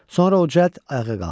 Sonra o cəld ayağa qalxdı.